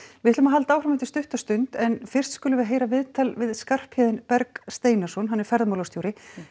við höldum áfram eftir stutta stund en fyrst skulum við heyra viðtal við Skarphéðin Berg Steinarsson ferðamálastjóra